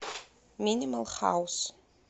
минимал хаус